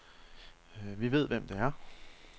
Vi ved, hvem det er.